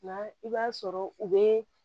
Nka i b'a sɔrɔ u bɛ